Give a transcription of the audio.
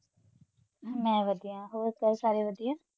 ਮੈਂ ਵਧੀਆ, ਹੋਰ ਘਰ ਸਾਰੇ ਵਧੀਆ?